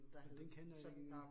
Den kender jeg ikke